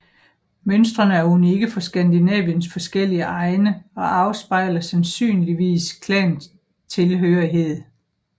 Mønstrene er unikke for Skandinaviens forskellige egne og afspejler sandsynligvis klantilhørighed